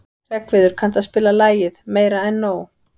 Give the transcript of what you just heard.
Hreggviður, kanntu að spila lagið „Meira En Nóg“?